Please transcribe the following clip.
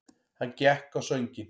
Hann gekk á sönginn.